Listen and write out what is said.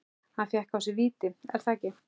Hann fékk á sig víti, er það ekki?